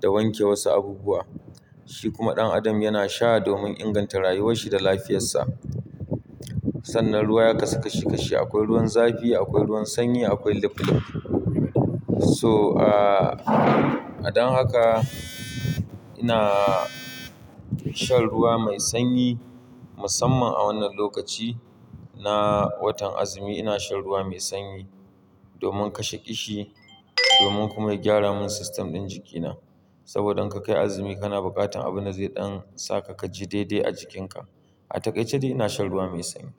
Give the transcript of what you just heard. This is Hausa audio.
da wanke wasu abubuwa. Shi kuma ɗan adam yana sha domin inganta rayuwarshi da lafiyarsa. Sannan ruwa ya kasu kashi kashi, akwai ruwan zafi, akwai ruwan sanyi, akwai lap lap. So, ah, a dan haka ina shan ruwa mai sanyi musamman a wannan lokaci na watan azumi ina shan ruwa mai sanyi domin kashe ƙishi, domin kuma ya gyara mun system ɗin jikina. Saboda in ka kai azumi kana bukatan abunda zai ɗan saka ka ji daidai a jikinka. A takaice dai ina shan ruwa mai sanyi.